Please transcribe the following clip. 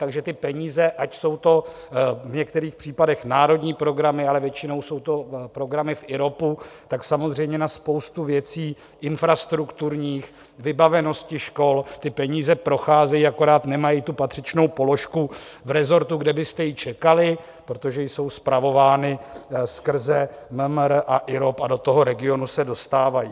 Takže ty peníze, ať jsou to v některých případech národní programy, ale většinou jsou to programy v IROPu, tak samozřejmě na spoustu věcí infrastrukturních, vybavenosti škol ty peníze procházejí, akorát nemají tu patřičnou položku v resortu, kde byste ji čekali, protože jsou spravovány skrze MMR a IROP a do toho regionu se dostávají.